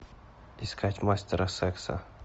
искать мастера секса